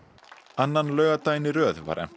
annan laugardaginn í röð var efnt